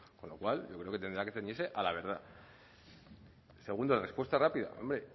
con lo cual yo creo que tendrá que ceñirse a la verdad segunda respuesta rápida hombre